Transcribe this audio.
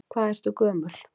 Hvað ertu gömul?